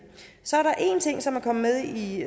så er der en ting som er kommet med i